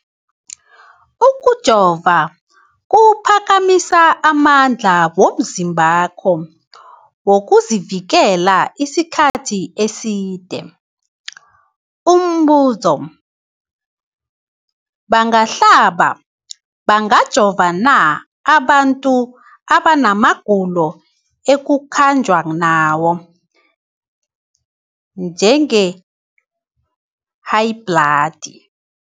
Ukujova kuphakamisa amandla womzimbakho wokuzivikela isikhathi eside. Umbuzo, bangahlaba, bangajova na abantu abana magulo ekukhanjwa nawo, njengehayibhladi?